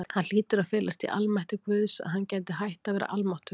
Það hlýtur að felast í almætti Guðs, að hann geti hætt að vera almáttugur.